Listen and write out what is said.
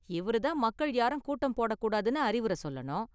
இவரு தான் மக்கள் யாரும் கூட்டம் போடக் கூடாதுனு அறிவுரை சொல்லணும்.